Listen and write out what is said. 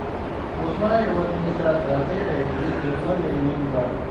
узнай у администратора отеля есть ли в номере мини бар